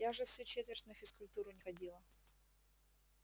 я же всю четверть на физкультуру не ходила